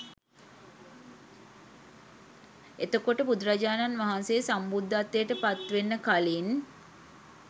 එතකොට බුදුරජාණන් වහන්සේ සම්බුද්ධත්වයට පත්වෙන්න කලින්